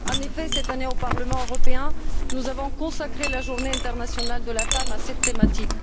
En effet, cette année, au Parlement européen, nous avons consacré la Journée internationale de la femme à cette thématique.